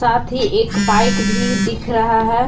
ही एक बाइक भी दिख रहा है।